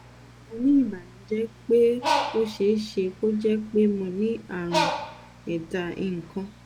mo ní ìbànújẹ pé ó ṣeé ṣe kó jẹ́ pé mo ní àrùn ẹ̀dá ìkóǹ